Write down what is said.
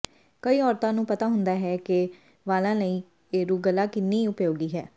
ਕਈ ਔਰਤਾਂ ਨੂੰ ਪਤਾ ਹੁੰਦਾ ਹੈ ਕਿ ਵਾਲਾਂ ਲਈ ਏਰੂਗਲਾ ਕਿੰਨੀ ਉਪਯੋਗੀ ਹੈ